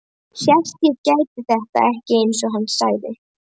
Hélt ég gæti þetta ekki, einsog hann sagði.